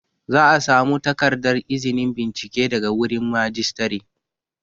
Za a samu takardar izinin bincike daga wurin Majistare